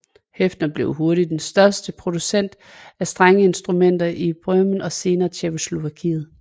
Höfner blev hurtigt den største producent af strengeinstrumenter i Böhmen og senere i Tjekkoslovakiet